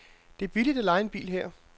Det er billigt at leje en bil her.